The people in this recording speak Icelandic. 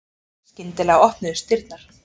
Skyndilega opnuðust dyrnar.